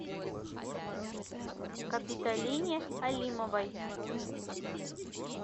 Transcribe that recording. капитолине алимовой